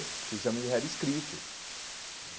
Porque o exame já era escrito.